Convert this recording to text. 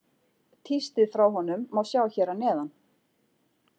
Tístið frá honum má sjá hér að neðan.